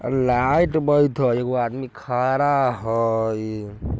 और लाइट बैरेत हय एगो आदमी खड़ा हेय--